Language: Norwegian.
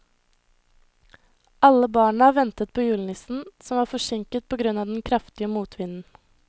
Alle barna ventet på julenissen, som var forsinket på grunn av den kraftige motvinden.